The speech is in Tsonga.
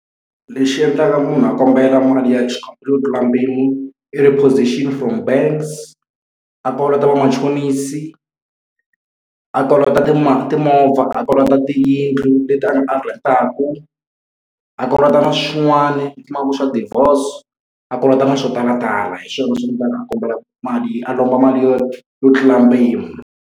Lexi endlaka munhu a kombela mali ya xikombelo yo tlula mpimo i repossession from banks, a kolota vamachonisi, a kolota timovha, a kolota tiyindlu leti a nga a rent-aka, a kolota na swin'wani u kuma ku na devorce, a kolota na swo talatala. Hi swona swi endlaka a kombela mali a lomba mali yo yo tlula mpimo.